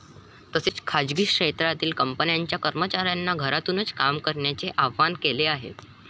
तसेच खासगी क्षेत्रातील कंपन्यांच्या कर्मचाऱ्यांना घरातूनच काम करण्याचे आवाहन केले आहे.